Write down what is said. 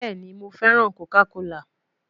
Bẹẹni, Mo fẹran Coca kola